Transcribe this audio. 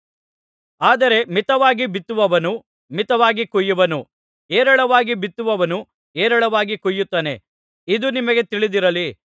ಆದರೆ ಮಿತವಾಗಿ ಬಿತ್ತುವವನು ಮಿತವಾಗಿ ಕೊಯ್ಯುವನು ಹೇರಳವಾಗಿ ಬಿತ್ತುವವನು ಹೇರಳವಾಗಿ ಕೊಯ್ಯುತ್ತಾನೆ ಇದು ನಿಮಗೆ ತಿಳಿದಿರಲಿ